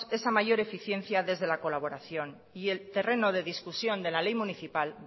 esa mayor eficiencia desde la colaboración y el terreno de discusión de la ley municipal